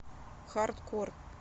хардкор